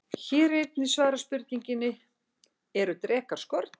Hér er einnig svarað spurningunni: Eru drekar skordýr?